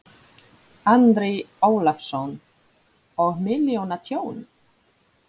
Andri Ólafsson: Og milljóna tjón?